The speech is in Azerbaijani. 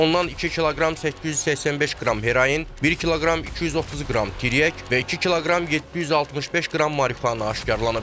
Ondan 2 kiloqram 885 qram heroin, 1 kiloqram 230 qram tiryək və 2 kiloqram 765 qram marixuana aşkar edilib.